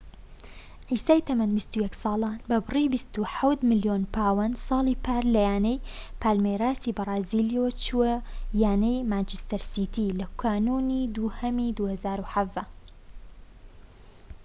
عیسای تەمەن ٢١ ساڵان بە بڕی ٢٧ ملیۆن پاوەند ساڵی پار لە یانەی پالمێراسی بەرازیلیەوە چووە یانەی مانچستەر سیتی لە کانونی دووهەمی ٢٠١٧